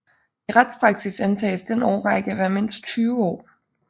I retspraksis antages den årrække at være mindst 20 år